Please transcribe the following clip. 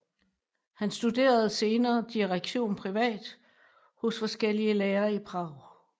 Han studerede senere direktion privat hos forskellige lærere i Prag